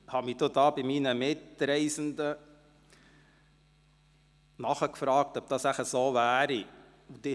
Ich fragte bei meinen Mitreisenden nach, ob dem so sei.